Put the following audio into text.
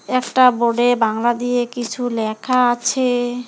একটা বোর্ডে বাংলা দিয়ে কিছু লেখা আছে।